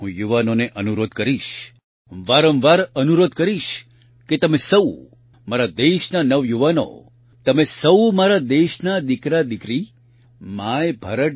હું યુવાનોને અનુરોધ કરીશ વારંવાર અનુરોધ કરીશ કે તમે સહુ મારા દેશના નવયુવાનો તમે સહુ મારા દેશના દિકરાદિકરી MyBharat